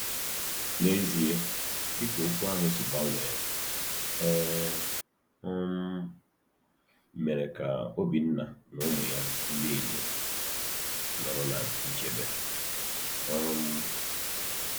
N’ezie, dị ka okwu ahụ si gbanwee, e um mere ka Obinna na ụmụ ya ndị inyom nọrọ ná nchebe. um